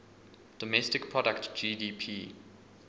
domestic product gdp